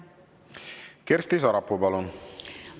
Kersti Sarapuu, palun!